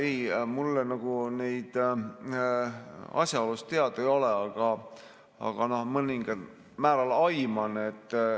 Ei, mulle neid asjaolusid teada ei ole, aga ma mõningal määral neid aiman.